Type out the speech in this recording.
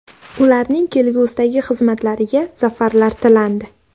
Ularning kelgusidagi xizmatlariga zafarlar tilandi.